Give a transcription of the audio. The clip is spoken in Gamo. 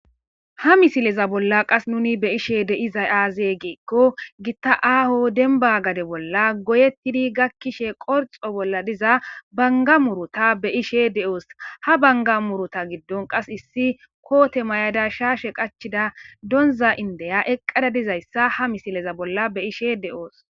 Ha misileza bolla qas nuni be ishe deizay aazee geekko gitta aaho denba gade bolla goyettidi gakkishe qorxo bolla diza banga murota be ishe de'oos ha banga murota giddon qas issi koote may'ada shaashe qachida donza indeya eqqada dizayssa ha misileza bolla be ishe de'oos.